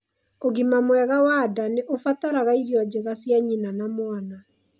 Ũgima mwega wa nda nĩ ũbataraga irio njega cia nyina na mwana.